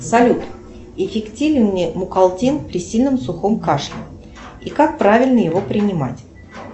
салют эффективен ли мукалтин при сильном сухом кашле и как правильно его принимать